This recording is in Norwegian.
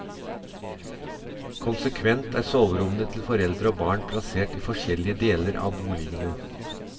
Konsekvent er soverommene til foreldre og barn plassert i forskjellige deler av boligene.